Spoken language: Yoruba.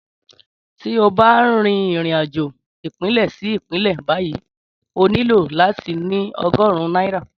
Tí o bá n rìnrìn-àjò ìpínlẹ̀ sí ìpínlẹ̀ báyìí o nílò láti ní ogórùn náírà